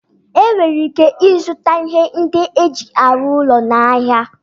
Enwere ike ịzụta ihe ndị eji arụ ụlọ n'ahịa